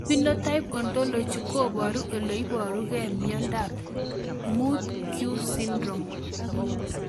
Phenotype ontology koparu ole iparug'ei miondop 5q syndrome